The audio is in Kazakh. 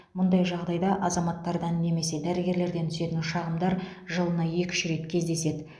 мұндай жағдайда азаматтардан немесе дәрігерлерден түсетін шағымдар жылына екі үш рет кездеседі